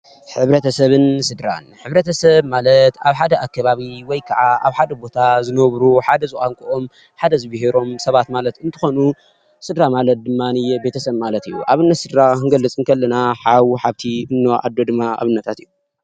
ሕብረተሰብን ስድራን፡- ሕብረተሰብ ማለት ኣብ ሓደ ኣከባቢ ወይ ከዓ ኣብ ሓደ ቦታ ዝነብሩ ሓደ ዝቋንቆኦም፣ ሓደ ዝቢሄሮም ሰባት ማለት እንትኾኑ ስድራ ማለት ድማንየ ቤተሰብ ማለት እዩ፡፡ ኣብነት ስድራ ክንገልፅ እንከለና ሓው፣ ሓፍቲ፣ እኖ ፣ኣዶ ድማ ኣብነታት እዮም፡፡